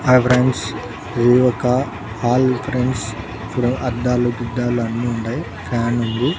Hi friends ఇది ఒక hall friends ఇక్కడ అద్దాలు గిద్దలూ అన్ని ఉండాయ్ ఫ్యాన్ ఉంది.